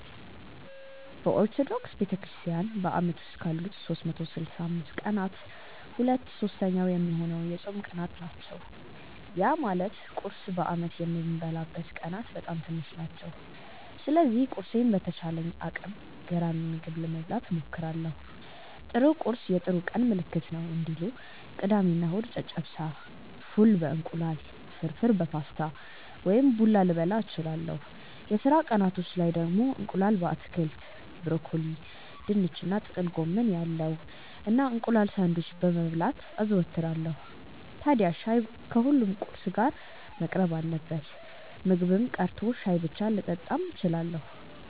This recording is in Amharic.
በኦርቶዶክስ ቤተክርስትያን በአመት ውስጥ ካሉት 365 ቀናት ሁለት ሶስተኛ ሚሆነው የጾም ቀናት ናቸው። ያ ማለት ቁርስ በአመት የምበላበት ቀናት በጣም ትንሽ ናቸው። ስለዚህ ቁርሴን በተቻለኝ አቅም ገራሚ ምግብ ለመብላት እሞክራለው 'ጥሩ ቁርስ የጥሩ ቀን ምልክት ነው' እንዲሉ። ቅዳሜ እና እሁድ ጨጨብሳ፣ ፉል በ እንቁላል፣ ፍርፍር በፓስታ ወይም ቡላ ልበላ እችላለው። የስራ ቀናቶች ላይ ደግሞ እንቁላል በአትክልት (ብሮኮሊ፣ ድንች እና ጥቅል ጎመን ያለው) እና እንቁላል ሳንድዊች መብላት አዘወትራለው። ታድያ ሻይ ከሁሉም ቁርስ ጋር መቅረብ አለበት። ምግብም ቀርቶ ሻይ ብቻ ልጠጣም እችላለው።